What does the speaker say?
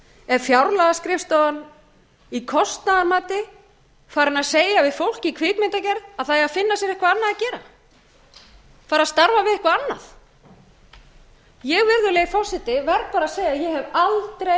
er fjárlagaskrifstofan í kostnaðarmati farin að segja við fólk í kvikmyndagerð að það eigi að finna sér eitthvað annað að gera bara starfa við eitthvað annað ég verð bara að segja að ég hef aldrei